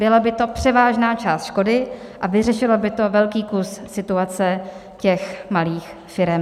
Byla by to převážná část škody a vyřešilo by to velký kus situace těch malých firem.